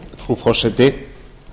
frú forseti